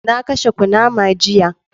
Na kashe kunama jiya.